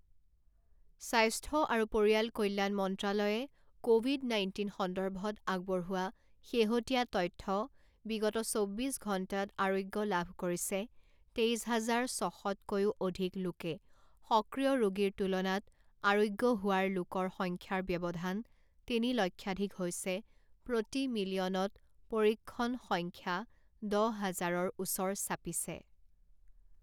স্বাস্থ্য আৰু পৰিয়াল কল্যাণ মন্ত্ৰালয়ে ক'ভিড নাইণ্টিন সন্দৰ্ভত আগবঢ়োৱা শেহতীয়া তথ্যঃ বিগত চৌব্বিছ ঘণ্টাত আৰোগ্য লাভ কৰিছে তেইছ হাজাৰ ছশত কৈও অধিক লোকে সক্ৰিয় ৰোগীৰ তুলনাত আৰোগ্য হোৱাৰ লোকৰ সংখ্যাৰ ব্যৱধান তিনি লক্ষাধিক হৈছে প্ৰতি মিলিয়নত পৰীক্ষণ সংখ্যা দহ হাজাৰৰ ওচৰ চাপিছে